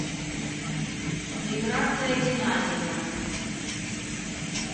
миграция геннадьевна